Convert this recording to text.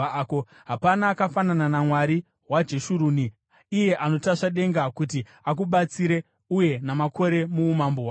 “Hapana akafanana naMwari waJeshuruni, iye anotasva denga kuti akubatsire uye namakore muumambo hwake.